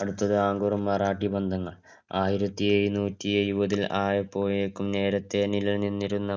അടുത്തത് മറാഠി ബന്ധങ്ങൾ ആയിരത്തി എഴുന്നൂറ്റി എഴുപത്തില് നേരെത്തെ നിലനിന്നിരുന്ന